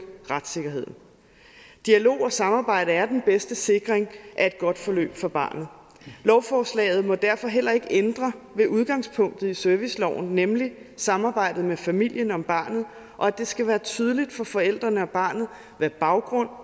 retssikkerheden dialog og samarbejde er den bedste sikring af et godt forløb for barnet lovforslaget må derfor heller ikke ændre ved udgangspunktet i serviceloven nemlig samarbejdet med familien om barnet og det skal være tydeligt for forældrene og barnet hvad baggrunden